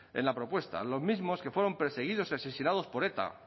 en la propuesta los mismos que fueron perseguidos y asesinados por eta